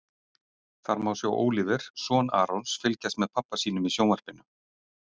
Þar má sjá Óliver, son Arons, fylgjast með pabba sínum í sjónvarpinu.